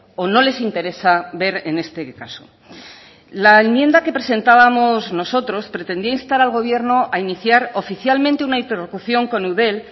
o no les interesa ver en este caso la enmienda que presentábamos nosotros pretendía instar al gobierno a iniciar oficialmente una interlocución con eudel